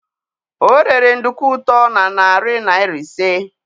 o rere nduku ut o na narị naira ise.